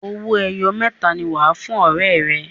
owoeye mẹta ní wá fún ọrẹ rè.